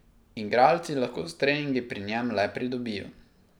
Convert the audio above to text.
Igralci lahko s treningi pri njem le pridobijo.